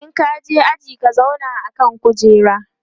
in ka je aji ka zauna a kan kujera!